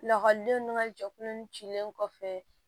Lakɔlidenw n'a jɛkulu ninnu cilen kɔfɛ